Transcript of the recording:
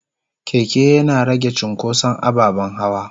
keke Yana rage cunkoson ababen hawa.